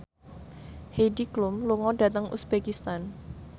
Heidi Klum lunga dhateng uzbekistan